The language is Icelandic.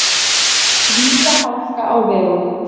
Víða hálka á vegum